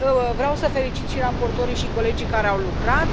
Vreau să felicit și raportorii și colegii care au lucrat.